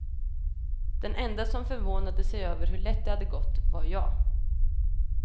Den enda som förvånade sig över hur lätt det hade gått var jag.